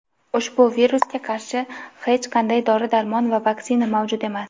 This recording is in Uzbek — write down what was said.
ushbu virusga qarshi hech qanday dori-darmon va vaksina mavjud emas.